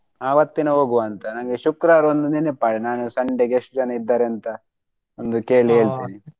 ಅವತ್ತೇನೆ ಹೋಗುವ ಅಂತ ನನ್ಗೆ ಶುಕ್ರವಾರ ಒಂದ್ ನೆನ್ಪ ಮಾಡಿ ನಾನೂ Sunday ಗೆ ಎಸ್ಟ ಜನಾ ಇದ್ದಾರೆ ಅಂತ ಒಂದು ಕೇಳಿ ಹೇಳ್ತೆನೆ .